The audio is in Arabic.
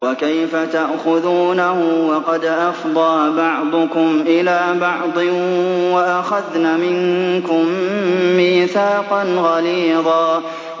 وَكَيْفَ تَأْخُذُونَهُ وَقَدْ أَفْضَىٰ بَعْضُكُمْ إِلَىٰ بَعْضٍ وَأَخَذْنَ مِنكُم مِّيثَاقًا غَلِيظًا